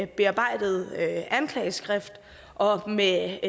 bearbejdet anklageskrift og med